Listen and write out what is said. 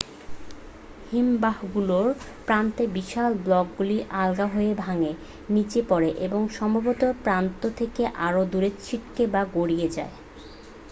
হিমবাহগুলোর প্রান্তে বিশাল ব্লকগুলি আলগা হয়ে ভাঙে নীচে পড়ে এবং সম্ভবত প্রান্ত থেকে আরও দূরে ছিটকে বা গড়িয়ে যায়